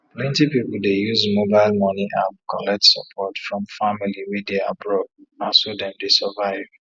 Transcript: plenty people dey use mobile money app collect support from family wey dey abroad na so dem dey survive